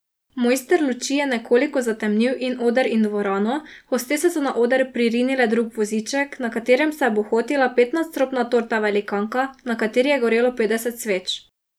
Mojster luči je nekoliko zatemnil in oder in dvorano, hostese so na oder pririnile drug voziček, na katerem se je bohotila petnadstropna torta velikanka, na kateri je gorelo petdeset sveč.